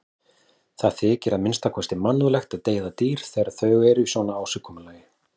Það þykir að minnsta kosti mannúðlegt að deyða dýr þegar þau eru í svona ásigkomulagi.